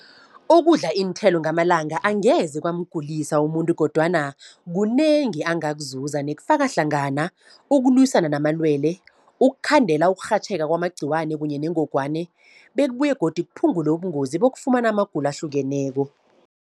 Ukudla iinthelo ngamalanga angeze kwamgulisa umuntu, kodwana kunengi angakuzuza. Nekufaka hlangana ukulwisana namalwele, ukukhandela ukurhatjheka kwamagqiwani kunye nengogwani bekubuye godu kuphungule ubungozi bokufumana amagulo ahlukeneko.